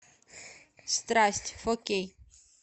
страсть фо кей